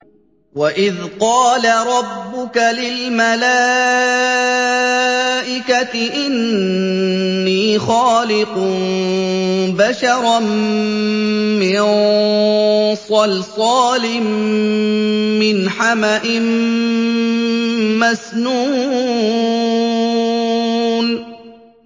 وَإِذْ قَالَ رَبُّكَ لِلْمَلَائِكَةِ إِنِّي خَالِقٌ بَشَرًا مِّن صَلْصَالٍ مِّنْ حَمَإٍ مَّسْنُونٍ